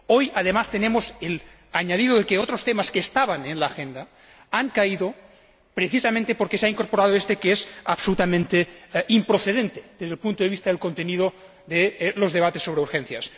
Hoy, además, tenemos el añadido de que otros temas que estaban en la agenda han caído precisamente porque se ha incorporado éste, que es absolutamente improcedente desde el punto de vista del contenido de los debates sobre urgencias.